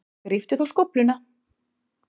Gríptu þá skófluna.